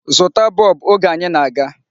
Zụta bọb! Oge anyi na-aga.